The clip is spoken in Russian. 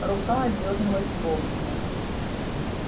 рука отдёрнулась вовремя